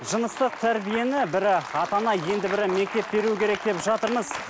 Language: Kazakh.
жыныстық тәрбиені бірі ата ана енді бірі мектеп беру керек деп жатырмыз